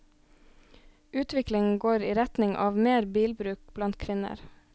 Utviklingen går i retning av mer bilbruk blant kvinner.